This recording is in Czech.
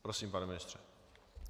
Prosím, pane ministře.